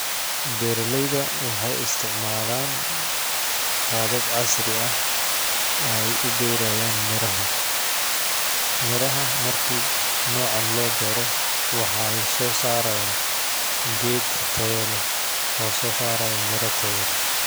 Beeralayda waxeey isticmalaan qaabab casri ah ay u beerayaan miraha ,miraha marki noocan loo beero waxeey soo sarayaan geed tayo leh oo soo saraayo miro taya leh .